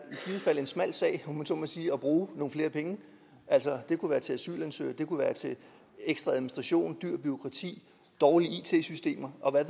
en smal sag om jeg så må sige at bruge nogle flere penge altså det kunne være til asylansøgere ekstra administration dyrt bureaukrati dårlige it systemer og hvad